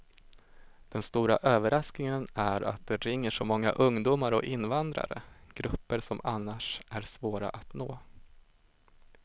Den stora överraskningen är att det ringer så många ungdomar och invandrare, grupper som annars är svåra att nå.